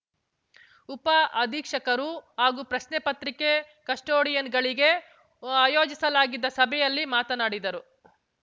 ಉಪ ಅಧೀಕ್ಷಕರು ಹಾಗೂ ಪ್ರಶ್ನೆ ಪತ್ರಿಕೆ ಕಸ್ಟೋಡಿಯನ್‌ಗಳಿಗೆ ಆಯೋಜಿಸಲಾಗಿದ್ದ ಸಭೆಯಲ್ಲಿ ಮಾತನಾಡಿದರು